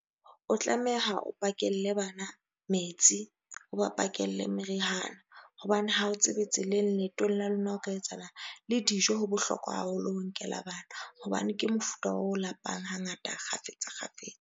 O tlameha o pakelle bana metsi. O ba pakelle meriana, hobane ha o tsebe tseleng leetong la lona ho ka etsahalang. Le dijo ho bohlokwa haholo ho nkela bana hobane ke mofuta o lapang ha ngata kgafetsa kgafetsa.